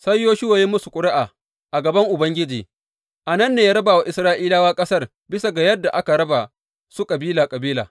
Sai Yoshuwa ya yi musu ƙuri’a a gaban Ubangiji, a nan ne ya raba wa Isra’ilawa ƙasar bisa ga yadda aka raba su kabila kabila.